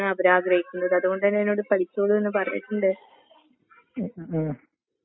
ഉം ശെരിയാണ്. ഉം.